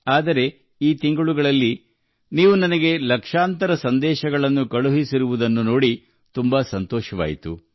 ಆದರೆ ಇಷ್ಟು ತಿಂಗಳುಗಳಲ್ಲಿ ನೀವು ನನಗೆ ಲಕ್ಷಗಟ್ಟಲೆ ಸಂದೇಶಗಳನ್ನು ಕಳುಹಿಸಿದ್ದನ್ನು ನೋಡಿ ನನಗೆ ತುಂಬಾ ಸಂತೋಷವಾಯಿತು